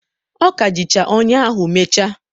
ọ ka jichara ọnyà ahụ mechaa.